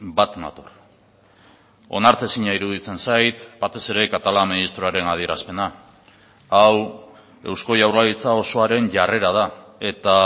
bat nator onartezina iruditzen zait batez ere catalá ministroaren adierazpena hau eusko jaurlaritza osoaren jarrera da eta